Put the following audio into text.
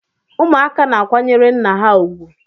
ụmụaka na-akwanyere nna ha ugwu